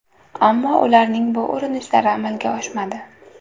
Ammo ularning bu urinishlari amalga oshmadi.